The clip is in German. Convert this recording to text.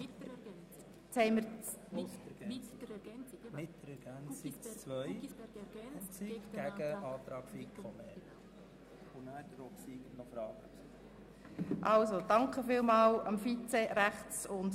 Ich danke dem Vizepräsidenten und der Stellvertretenden Generalsekretärin für die Unterstützung.